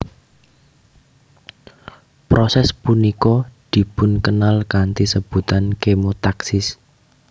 Proses punika dipunkenal kanthi sebutan kemotaksis